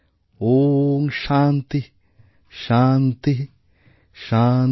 ওঁ শান্তিঃ শান্তিঃ শান্তিঃ